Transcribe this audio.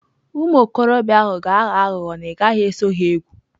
Ụmụ okorobịa ahụ ga-aghọ aghụghọ na ị gaghị eso ha egwu.